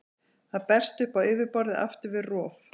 Það berst upp á yfirborðið aftur við rof.